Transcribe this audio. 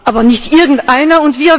USA, aber nicht irgendeinen.